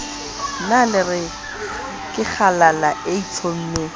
na le kgalala e itlhommeng